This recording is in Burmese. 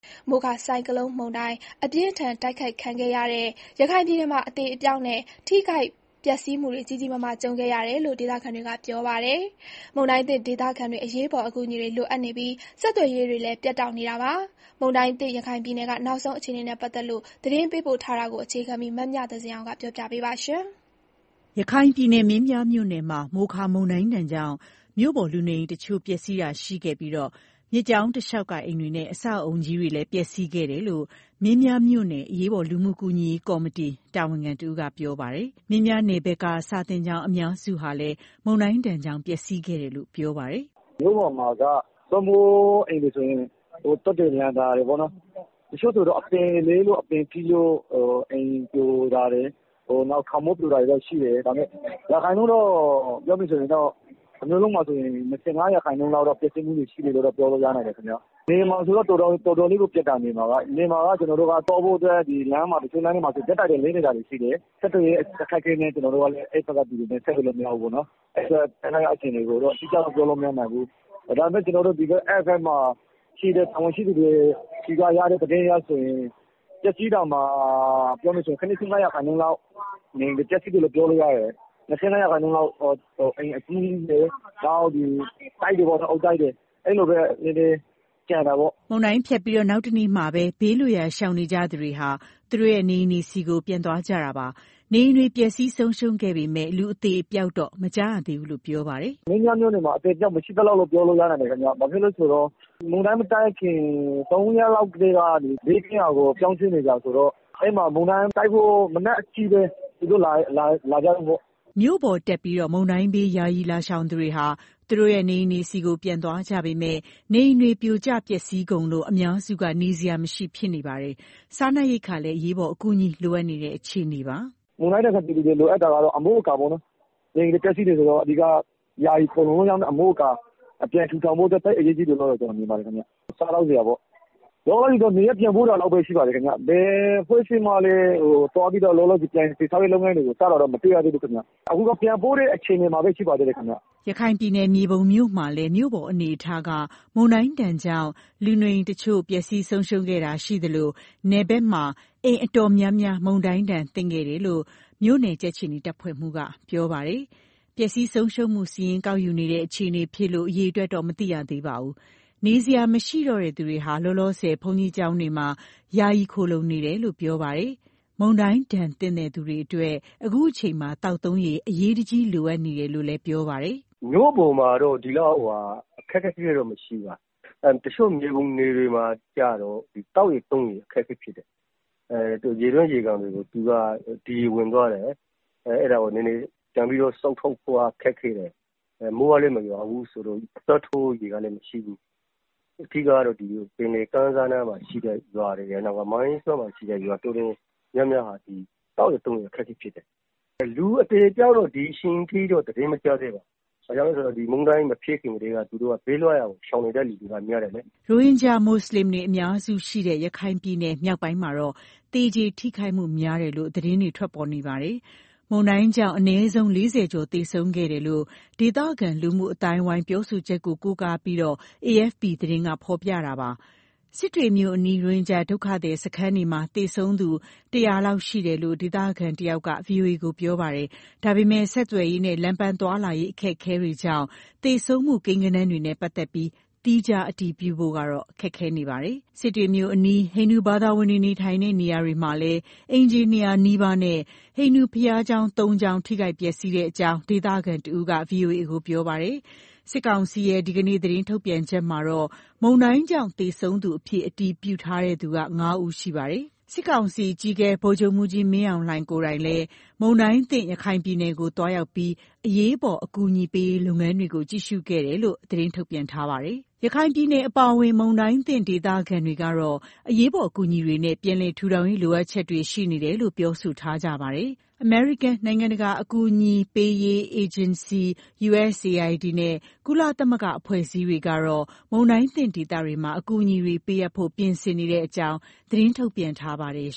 မိုခါဆိုင်ကလုန်းမုန်တိုင်း အပြင်းအထန် တိုက်ခိုက်ခံခဲ့ရတဲ့ ရခိုင်ပြည်နယ်မှာ အသေအပျောက်နဲ့ ထိခိုက်ပျက်စီးမှုတွေ ကြီးကြီးမားမား ကြုံခဲ့ရတယ်လို့ ဒေသခံတွေက ပြောပါတယ်။ မုန်တိုင်းသင့် ဒေသခံတွေ အရေးပေါ် အကူအညီတွေ လိုအပ်နေပြီး၊ ဆက်သွယ်ရေးတွေလည်း ပြတ်တောက်နေတာပါ။ မုန်တိုင်းသင့် ရခိုင်ပြည်နယ်က နောက်ဆုံး အခြေအနေနဲ့ ပတ်သက်လို့ သတင်းပေးပို့ထားတာကို အခြေခံပြီး မမြသဇင်အောင် ပြောပြမှာပါ။ ရခိုင်ပြည်နယ်၊ မင်းပြားမြို့နယ်မှာ “မိုခါ” မုန်တိုင်းဒဏ်ကြောင့် မြို့ပေါ်လူနေအိမ်တချို့ ပျက်စီးတာတွေရှိခဲ့ပြီး၊ မြစ်ကြောင်းတလျှောက်က အိမ်တွေနဲ့ အဆောက်အအုံကြီးတွေလည်း ပျက်စီးခဲ့တယ်လို့ မင်းပြားမြို့နယ် အရေးပေါ်လူမှုကူညီရေး ကော်မတီတာဝန်ခံ တဦးက ပြောပါတယ်။ မင်းပြားနယ်ဘက်က စာသင်ကျောင်း အများစုဟာလည်း မုန်တိုင်းဒဏ်ကြောင့် ပျက်စီးခဲ့တယ်လို့ ပြောပါတယ်။ "မြို့ပေါ်မှာက သွပ်မိုးအိမ်တွေဆိုရင် သွပ်တွေလန်သွားတယ်။ တချို့ဆို အပင်လဲလို့ အပင်ထိလို့ အိမ်ပြိုတာတွေ၊ ခေါင်မိုးပြိုတာတွေ ရှိတယ်။ မြို့ပေါ်ပျက်စီးမှုက ၂၅ ရာခိုင်နှုန်းလောက် ရှိတယ်ခင်ဗျ။ နယ်မှာဆိုရင်တော့ တော်တော်လေးကို ပျက်စီးမှာပါ။ နယ်မှာက ကျနော်တို့ သွားဖို့အတွက် တချို့လမ်းတွေမှာဆို ဓာတ်တိုင်တွေ လဲနေတာရှိတယ်။ ဆက်သွယ်ရေး အခက်အခဲကြောင့်ရော ကျနော်တို့ အဲဒီဘက်ကို ဆက်သွယ်လို့ မရသေးဘူး။ အဲတော့ မင်းပြားနယ်ဘက်က အခြေအနေကိုတော့ အတိအကျတော့ ပြောလို့မရသေးဘူး။ ဒါပေမဲ့ အဲဒီဘက်မှာရှိနေတဲ့ တာဝန်ရှိသူတွေဆီကရတဲ့ သတင်းအရဆိုရင် ၇၅ ရာခိုင်နှုန်းလောက် နေအိမ်တွေ ပျက်စီးတယ်လို့ ပြောလို့ရမယ်။ ကျန်တဲ့ ၂၅ ရာခိုင်နှုန်းလောက်က နေအိမ်အကြီးကြီးတွေနဲ့ အုတ်တိုက်တွေပေါ့နော်၊ အဲလိုပဲ နည်းနည်းကျန်တာပေါ့။" မုန်တိုင်းဖြတ်ပြီး နောက်တနေ့မှာပဲ ဘေးလွတ်ရာ ရှောင်နေကြသူတွေဟာ သူတို့ရဲ့ နေအိမ်ဆီကို ပြန်သွားကြတာပါ။ နေအိမ်တွေ ပျက်စီးဆုံးရှုံးခဲ့ပေမယ့် လူအသေအပျောက်တော့ မကြားရသေးဘူးလို့ ပြောပါတယ်။ "မင်းပြားမြို့နယ်မှာ အသေအပျောက် မရှိသလောက်လို့ ပြောလို့ရနိုင်တယ်ခင်ဗျ။ ဘာဖြစ်လို့လဲဆိုတော့ မုန်တိုင်းမတိုက်ခင် ၃ ရက်လောက်ကတည်းက ဘေးကင်းရာကို ပြောင်းရွှေ့နေတာဆိုတော့ အဲဒီမှာ မုန်တိုင်းတိုက်ဖို့ မနက်အထိပဲ သူတို့လာကြတာပေါ့။" မြို့ပေါ်တက်ပြီး မုန်တိုင်းဘေး ယာယီရှောင်လာသူတွေဟာ သူတို့ရဲ့ နေအိမ်တွေဆီ ပြန်သွားကြပေမယ့် နေအိမ်တွေ ပြိုကျပျက်စီးကုန်လို့ အများစုက နေစရာမရှိ ဖြစ်နေကြပါတယ်။ စားနပ်ရိက္ခာလည်း အရေးပေါ် အကူအညီ လိုအပ်နေတဲ့ အခြေအနေပါ။ "မုန်တိုင်းဒဏ်သင့် ပြည်သူတွေလိုအပ်တာက အမိုးအကာပေါ့နော်။ နေအိမ်တွေ ပျက်စီးတာဆိုတော့ ယာယီခိုလှုံခွင့်ရမယ့် အမိုးအကာ လိုတာပေါ့။ နောက်ပြီးတော့ စားနပ်ရိက္ခာ လိုတာပေါ့။ လောလောဆယ်ကတော့ နေရပ်ပြန်ပို့တာလောက်ပဲ ရှိပါသေးတယ်။ မုန်တိုင်းကလည်း ပြီးခါစဆိုတော့ ဘယ်အဖွဲ့အစည်းမှလည်း လောလောဆယ် ပြန်လည်တည်ဆောက်ရေး လုပ်ငန်းတွေစတာတော့ မတွေ့ရသေးဘူးခင်ဗျ။ အခုတော့ ပြန်ပို့တဲ့ အခြေအနေမှာပဲ ရှိပါသေးတယ်ခင်ဗျ။" ရခိုင်ပြည်နယ် မြေပုံမြို့မှာလည်း မြို့ပေါ်အနေအထားက မုန်တိုင်းဒဏ်ကြောင့် လူနေအိမ်တချို့ ပျက်စီးတာရှိခဲ့ပေမယ့်၊ နယ်ဘက်မှာတော့ အိမ်အတော်များများ မုန်တိုင်းဒဏ်သင့်ခဲ့တယ်လို့ မြို့နယ်ကြက်ခြေနီ တပ်ဖွဲ့မှူးက ပြောပါတယ်။ ပျက်စီးဆုံးရှုံးမှုစာရင်း ကောက်ယူနေတဲ့ အခြေအနေဖြစ်လို့ အရေအတွက် မသိရသေးပါဘူး။ နေစရာမရှိတော့သူတွေက လောလောဆယ် ဘုန်းကြီးကျောင်းတွေမှာ ယာယီနေ နေကြတယ်လို့ ပြောပါတယ်။ မုန်တိုင်းဒဏ် သင့်သူတွေအတွက် အခုအချိန်မှာ သောက်သုံးရေ အရေးတကြီး လိုအပ်နေတယ်လို့ ပြောပါတယ်။ "မြို့ပေါ်မှာတော့ ဒီလောက်ထိ အခက်အခဲတွေ မရှိဘူး။ မြေပုံနယ် တချို့မှာတော့ သောက်ရေသုံးရေ အခက်အခဲဖြစ်တယ်။ ရေတွင်း၊ ရေကန်တွေမှာ ဒီရေဝင်သွားတယ်။ အဲဒါကို ပြန်ပြီးစုပ်ထုတ်ဖို့က ခက်ခဲတယ်။ မိုးကလည်း မရွာဘူးဆိုတော့ အစားထိုးဖို့ ရေကမရှိဘူး။ အဓိကတော့ ပင်လယ်ကမ်းစပ်နားက ရွာတော်တော်များများက သောက်ရေသုံးရေ အခက်အခဲဖြစ်တယ်။ လူအသေအပျောက်က ဒီအချိန်ထိတော့ သတင်းမကြားသေးဘူး။ ဘာဖြစ်လို့လဲဆိုတော့ မုန်တိုင်းမဖြစ်ခင်ကတည်းက သူတို့က ဘေးလွတ်ရာကို ရှောင်နေတဲ့လူတွေက များတယ်လေ။" ရိုဟင်ဂျာ မွတ်ဆလင်တွေ အများစုရှိရာ ရခိုင်ပြည်နယ် မြောက်ပိုင်းမှာတော့ သေကျေထိခိုက်မှုတွေများတယ်လို့လည်း သတင်းတွေ ထွက်ပေါ်နေပါတယ်။ မုန်တိုင်းကြောင့် အနည်းဆုံး ၄၀ ကျော် သေဆုံးခဲ့တယ်လို့လည်း ဒေသခံ လူမှုအသိုင်းအဝိုင်းရဲ့ ပြောဆိုချက်ကို ကိုးကားပြီး AFP သတင်းမှာ ဖော်ပြခဲ့တာပါ။ စစ်တွေမြို့အနီး ရိုဟင်ဂျာဒုက္ခသည် စခန်းတွေမှာ သေဆုံးသူ ၁၀၀ လောက် ရှိတယ်လို့လည်း ဒေသခံတယောက်က ဗွီအိုအေကို ပြောပါတယ်။ ဒါပေမဲ့လည်း ဆက်သွယ်ရေးနဲ့ လမ်းပန်းသွားလာရေး အခက်အခဲတွေကြောင့် သေဆုံးမှု ကိန်းဂဏန်းတွေနဲ့ ပတ်သက်လို့ သီးခြားအတည်ပြုဖို့ ခက်ခဲနေပါတယ်။ စစ်တွေမြို့အနီး ဟိန္ဒူဘာသာဝင်တွေနေထိုင်တဲ့ နေရာတွေမှာလည်း အိမ်ခြေ ၂၀၀ နီးပါးနဲ့ ဟိန္ဒူဘုရားကျောင်း ၃ ကျောင်း ထိခိုက်ပျက်စီးကြောင်း ဒေသခံ တယောက်က ဗွီအိုအေကို ပြောပါတယ်။ စစ်ကောင်စီရဲ့ ဒီကနေ့သတင်းထုတ်ပြန်ချက်မှာတော့ မုန်တိုင်းကြောင့် သေဆုံးသူအဖြစ် အတည်ပြုထားတဲ့သူ ၅ ဦးရှိပါတယ်။ စစ်ကောင်စီ အကြီးအကဲ ဗိုလ်ချုပ်မှူးကြီး မင်းအောင်လှိုင်ဟာလည်း မုန်တိုင်းသင့် ရခိုင်ပြည်နယ်ကို သွားရောက်ပြီး အရေးပေါ် အကူအညီပေးရေး လုပ်ငန်းတွေကို ကြည့်ရှုခဲ့တယ်လို့ သတင်းထုတ်ပြန်ထားပါတယ်။ ရခိုင်ပြည်နယ် အပါအဝင် မုန်တိုင်းသင့်ဒေသခံ ဒေသခံတွေကတော့ အရေးပေါ် အကူအညီတွေနဲ့ ပြန်လည်ထူထောင်ရေး လိုအပ်ချက်တွေ ရှိနေတယ်လို့ ပြောဆိုထားကြပါတယ်။ အမေရိကန် နိုင်ငံတကာ အကူအညီပေးရေး အေဂျင်စီ USAID ကုလသမဂ္ဂ အဖွဲ့အစည်းတွေကတော့ မုန်တိုင်းသင့်ဒေသတွေမှာ အကူအညီတွေပေးအပ်ဖို့ ပြင်ဆင်နေကြောင်း သတင်းထုတ်ပြန်ထားပါတယ်